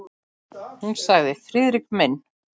Hún sagði: Friðrik minn!